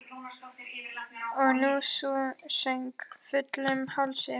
Og sú söng, fullum hálsi!